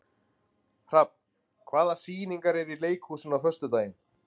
Hrafn, hvaða sýningar eru í leikhúsinu á föstudaginn?